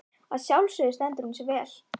Að sjálfsögðu stendur hún sig vel.